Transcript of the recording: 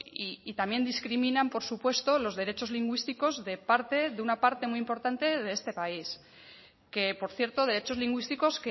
y también discriminan por supuesto los derechos lingüísticos de una parte muy importante de este país que por cierto derechos lingüísticos